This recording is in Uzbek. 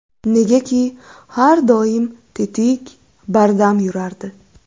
Negaki, har doim tetik, bardam yurardi.